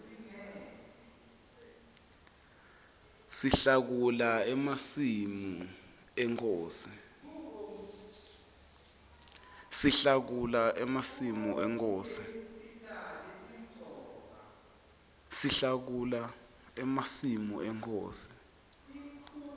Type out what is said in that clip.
sihlakula emasimi enkhosi